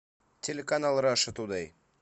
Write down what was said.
телеканал раша тудэй